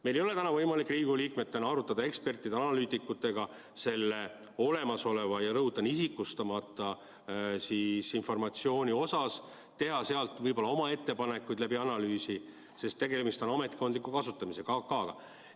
Meil ei ole täna võimalik Riigikogu liikmetena arutada ekspertide ja analüütikutega selle olemasoleva ja, rõhutan, isikustamata informatsiooni üle, teha võib-olla analüüsi tulemusel oma ettepanekuid, sest tegemist on ametkondliku kasutamisega, AK-ga.